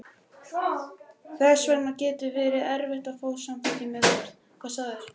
Þess vegna getur verið erfitt að fá þá til að samþykkja meðferð.